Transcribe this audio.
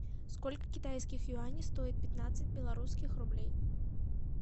сколько китайских юаней стоит пятнадцать белорусских рублей